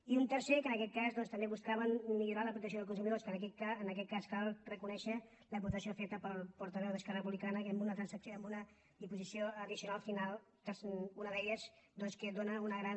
i un tercer que en aquest cas doncs també buscàvem millorar la protecció dels consumidors que en aquest cas cal reconèixer l’aportació feta pel portaveu d’esquerra republicana amb una disposició addicional final una d’elles doncs que dóna una gran